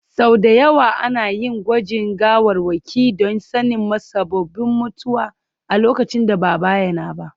Sau da yawa ana yin gwajin gawarwaki don sanin musabbabin mutuwar a lokacin da ba a bayyana ba.